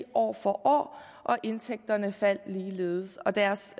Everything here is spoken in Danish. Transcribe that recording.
år for år og indtægterne faldt ligeledes og deres